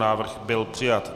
Návrh byl přijat.